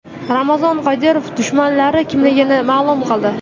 Ramzan Qodirov dushmanlari kimligini ma’lum qildi.